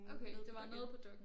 Okay det var nede på Dokk1